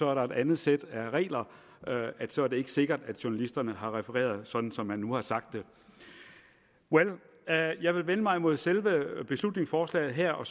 er et andet sæt regler og så er det ikke sikkert at journalisterne har refereret sådan som man nu har sagt det well jeg vil vende mig mod selve beslutningsforslaget her og